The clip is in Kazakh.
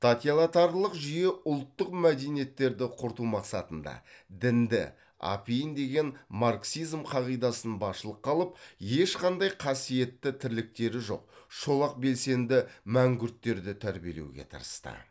жүйе ұлттық мәдениеттерді құрту мақсатында дінді апиын деген марксизм қағидасын басшылыққа алып ешқандай қасиетті тірліктері жоқ шолақ белсенді мәңгүрттерді тәрбиелеуге тырысты